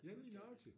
Ja lige nøjagtig